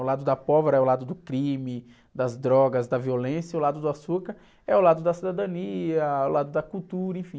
O lado da pólvora é o lado do crime, das drogas, da violência, e o lado do açúcar é o lado da cidadania, o lado da cultura, enfim.